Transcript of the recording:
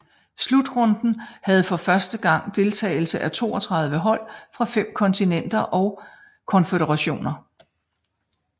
Slutrunden havde for første gang deltagelse af 32 hold fra 5 kontinenter og konføderationer